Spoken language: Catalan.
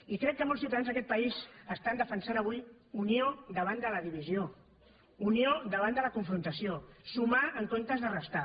i crec que molts ciutadans d’aquest país defensen avui unió davant de la divisió unió davant de la confrontació sumar en comptes de restar